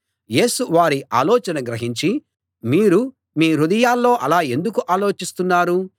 యేసు వారి ఆలోచన గ్రహించి మీరు మీ హృదయాల్లో అలా ఎందుకు ఆలోచిస్తున్నారు